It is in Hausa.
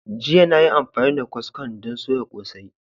Jiya na yi amfani da kwaskon don soya kosai.